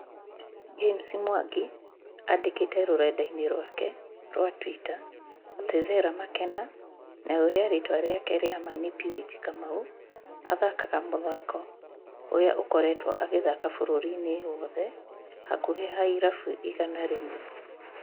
James Mwangi andĩkĩte rũrenda-inĩ rwake rwa twitter atĩ Vera Makena na uria ritwa riake ria ma ni Purity kamau , athakaga mũthako ũrĩa akoretwo agĩthaka bũrũĩri-inĩ wothe hakuhĩ ha irabu igana rĩmwe